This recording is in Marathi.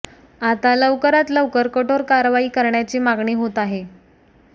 आता लवकरात लवकर कठोर कारवाई करण्याची मागणी होत आहे